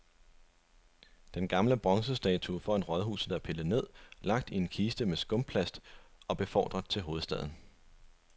Den gamle bronzestatue foran rådhuset er pillet ned, lagt i en kiste med skumplast og befordret til hovedstaden.